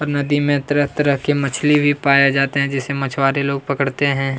और नदी में तरह-तरह के मछली भी पाए जाते है जैसे मछुआरे लोग पकड़ते है।